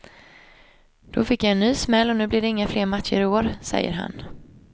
Då fick jag en ny smäll och nu blir det inga fler matcher i år, säger han.